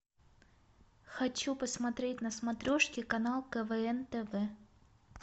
хочу посмотреть на смотрешке канал квн тв